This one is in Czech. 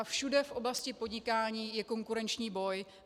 A všude v oblasti podnikání je konkurenční boj.